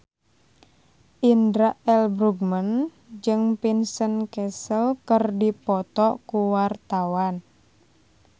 Indra L. Bruggman jeung Vincent Cassel keur dipoto ku wartawan